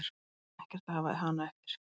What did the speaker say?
Ég ætla ekkert að hafa hana eftir.